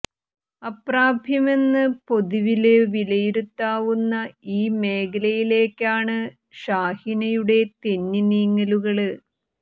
അപ്രാപ്യമന്ന് പൊതുവില് വിലയിരുത്താവുന്ന ഈ മേഖലയിലേക്കാണ് ഷാഹിനയുടെ തെന്നി നീങ്ങലുകള്